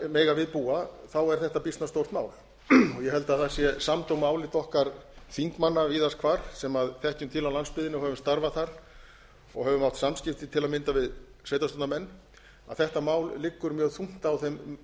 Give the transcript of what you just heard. mega við búa þá er þetta býsna stórt mál og ég held að það sé samdóma álit okkar þingmanna víðast hvar sem þekkjum til á landsbyggðinni og höfum starfað þar og höfum átt samskipti til að mynda við sveitarstjórnarmenn að þetta mál liggur mjög þungt á þeim